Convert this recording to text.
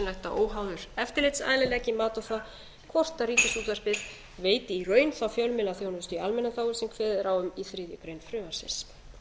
að óháður eftirlitsaðili leggi mat á það hvort ríkisútvarpið veiti í raun þá fjölmiðlaþjónustu í almannaþágu sem kveðið er á um í þriðju greinar frumvarpsins